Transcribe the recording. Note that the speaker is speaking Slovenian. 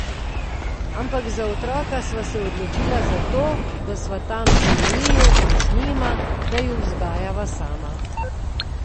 Ampak za otroka sva se odločila zato, da sva tam za njiju in z njima, da ju vzgajava sama.